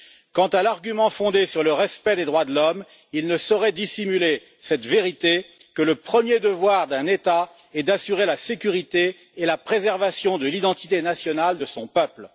Quant à l'argument fondé sur le respect des droits de l'homme, il ne saurait dissimuler cette vérité que le premier devoir d'un État est d'assurer la sécurité et la préservation de l'identité nationale de son peuple.